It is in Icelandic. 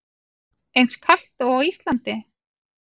Eins kalt og á Íslandi?